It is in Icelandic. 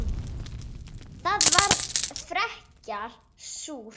Það var frekar súrt.